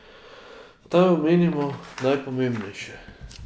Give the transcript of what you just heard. Naj omenimo najpomembnejše.